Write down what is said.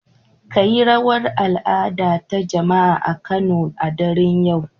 Kayi rawar al'ada ta jama'a a Kano a daren yau